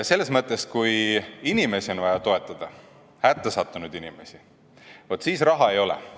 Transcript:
Kui inimesi on vaja toetada, hättasattunud inimesi, vaat siis raha ei ole.